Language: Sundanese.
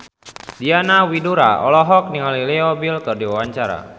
Diana Widoera olohok ningali Leo Bill keur diwawancara